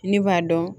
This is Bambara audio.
Ne b'a dɔn